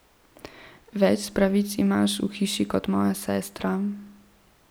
Več pravic imaš v hiši kot moja sestra.